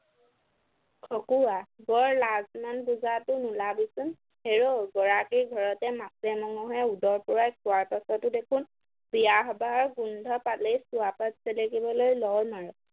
খকুৱা - বৰ লাজ মান বুজাটো নোলাবিচোন হেৰৌ গৰাকীৰ ঘৰতে মাছে মঙহে উদৰ পূৰাই খোৱাৰ পাছতো দেখোন বিয়া সবাহৰ গোন্ধ পালেই চুৱাপাত চেলেকিবলৈ লৰ মাৰ